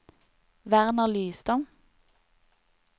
Werner Lystad